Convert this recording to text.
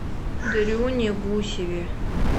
дрюне гусеве